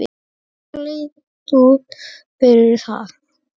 Það leit út fyrir það.